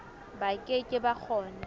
ba ke ke ba kgona